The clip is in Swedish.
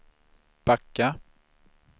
backa